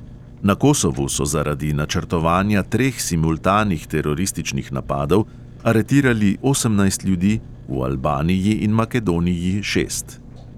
Na kosovu so zaradi načrtovanja treh simultanih terorističnih napadov aretirali osemnajst ljudi, v albaniji in makedoniji šest.